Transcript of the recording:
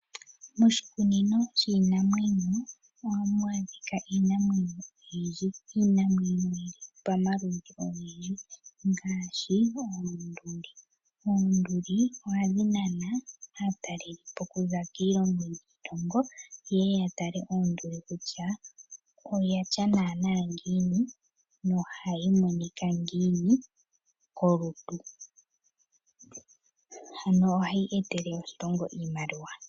Moshikunino shiinamwenyo ohamu adhika iinamwenyo oyindji, iinamwenyo yili pamaludhi ogendji ngaashi oonduli. Oonduli ohadhi nana aatalelipo okuza kiilongo niilongo yeye yatale onduli kutya oyatya nana ngiini na ohayi monika ngiini kolutu, ano ohayi etele oshilongo iimaliwa.